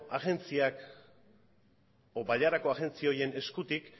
agentziak edo bailarako agentzi horien eskutik